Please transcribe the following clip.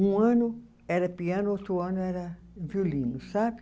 Um ano era piano, outro ano era violino, sabe?